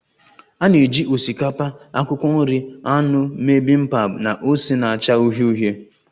A na-eji osikapa, akwụkwọ nri, anụ mee Bibimpap na ose na-acha uhie uhie